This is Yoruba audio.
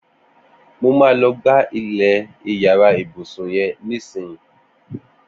Mó mà lọ̀ gbá ilẹ iyàrá ibùsùn yèn nìsín